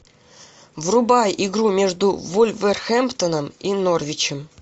врубай игру между вулверхэмптоном и норвичем